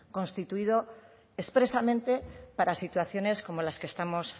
constituido expresamente para las situaciones como las que estamos